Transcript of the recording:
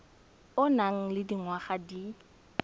o nang le dingwaga di